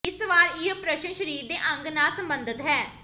ਇਸ ਵਾਰ ਇਹ ਪ੍ਰਸ਼ਨ ਸਰੀਰ ਦੇ ਅੰਗ ਨਾਲ ਸਬੰਧਤ ਹੈ